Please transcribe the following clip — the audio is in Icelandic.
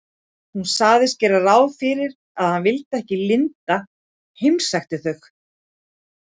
Hún sagðist gera ráð fyrir að hann vildi ekki að linda heimsækti þau.